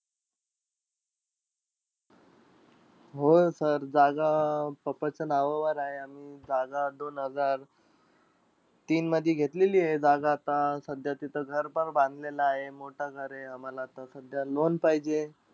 होय sir. जागा papa च्या नावावर आहे. आणि जागा दोन हजार तीन मध्ये घेतलेलीयं. जागा आता, सध्या तिथे घरपण बांधलेलं आहे, मोठं घर आहे. आम्हाला आता सध्या loan पाहिजेय.